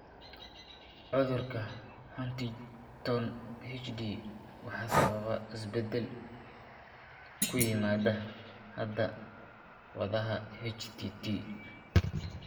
Cudurka Huntington (HD) waxaa sababa isbeddel (isbedel) ku yimaada hidda-wadaha HTT.